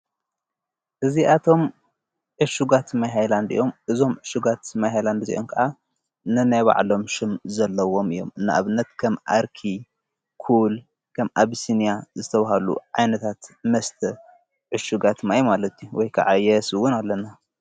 እዚኣቶም ዕሹጋት ማይ ሃይላንድ ኦም እዞም ዑሹጋት ማይ ሃይላንድ እዜዮም ከዓ ነናይባዕሎም ሹም ዘለዎም እዮም እንእብነት ከም ኣርኪ ኩል ከም ኣብስንያ ዝተውሃሉ ዓይነታት መስተ ዕሹጋት ማይ ማለቲ ወይከዓ የስውን ኣለና::